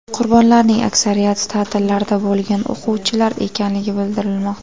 Qurbonlarning aksariyati ta’tillarda bo‘lgan o‘quvchilar ekanligi bildirilmoqda.